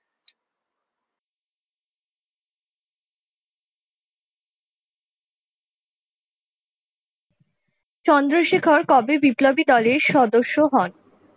চন্দ্রশেখর কবে বিপ্লবী দলের সদস্য হন?